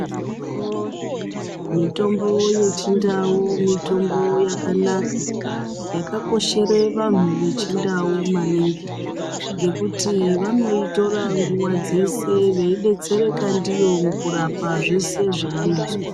Mitombo yeChiNdau mitombo yakanaka, yakakoshere vanhu veChiNdau maningi ngekuti vanoitora nguva dzese vaidetsereka ndiyo mukurapa zvese zvevanozwa.